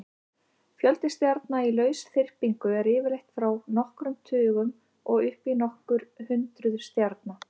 Fjöldi stjarna í lausþyrpingu er yfirleitt frá nokkrum tugum og upp í nokkur hundruð stjarna.